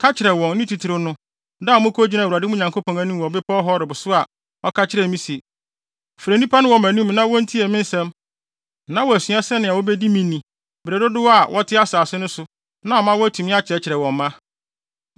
Ka kyerɛ wɔn, ne titiriw no, da a mokogyinaa Awurade, mo Nyankopɔn, anim wɔ bepɔw Horeb so a ɔka kyerɛɛ me se, “Frɛ nnipa no wɔ mʼanim na wontie me nsɛm na wɔasua sɛnea wobedi me ni bere dodow a wɔte asase no so na ama wɔatumi akyerɛkyerɛ wɔn mma.”